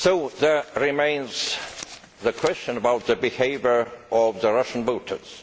There remains the question of the behaviour of the Russian voters.